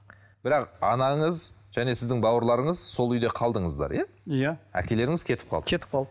бірақ анаңыз және сіздің бауырларыңыз сол үйде қалдыңыздар иә иә әкелеріңіз кетіп қалды кетіп қалды